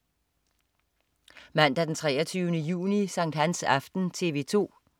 Mandag den 23. juni. Sankthansaften - TV 2: